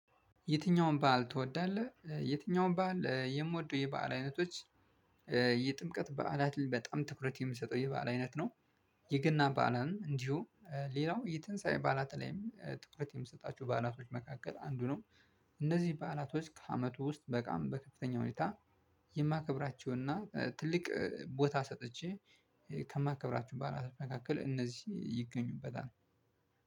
የትኛውም በዓል ትወዳለህ? የትኛውም በዓል የምወደው የበአል አይነቶች የጥምቀት በዓላት በጣም ትኩረት የምሰጠው ይህ በዓላት አይነት ነው። የገና በዓላን እንዲሁ ሌላው የትንሳኤ በዓላት ላይም ትኩረት የምሰጣቸው በዓላቶች መካከል አንዱ ነው። እነዚህ በዓላቶች ከአመቱ ውስጥ በቃም በከፍተኛ ሁኔታ። የማከብራቸውንና ትልቅ ቦታ ሰጥቼ ከማከብራቸው በዓላቶች መካከል እነዚህ ይገኙበታል።